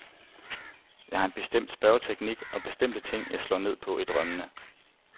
Jeg har en bestemt spørgeteknik og bestemte ting, jeg slår ned på i drømmene.